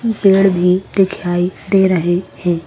पेड़ भी दिखलाई दे रहें हैं।